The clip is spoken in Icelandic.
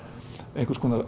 einhvers konar